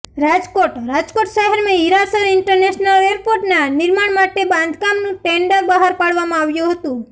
રાજકોટઃ રાજકોટ શહેરમાં હીરાસર ઈન્ટરનેશનલ એરપોર્ટના નિર્માણ માટે બાંધકામનું ટેન્ડર બહાર પાડવામાં આવ્યું હતું